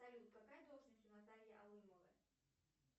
салют какая должность у натальи алымовой